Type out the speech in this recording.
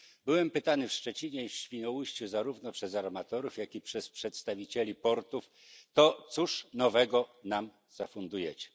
Byłem pytany w Szczecinie i Świnoujściu zarówno przez armatorów, jak i przez przedstawicieli portów to cóż nowego nam zafundujecie?